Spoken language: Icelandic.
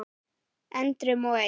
endrum og eins.